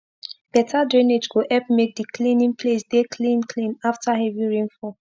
better drainage go epp make d cleaning place dey clean clean after heavy rain fall